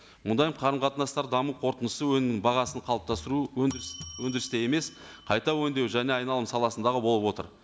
мұндай қарым қатынастар даму қорытындысы өнімнің бағасын қалыптастыру өндіріс өндірісте емес қайта өңдеу және айналым саласындағы болып отыр